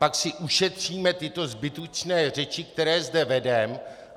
Pak si ušetříme tyto zbytečné řeči, které zde vedeme.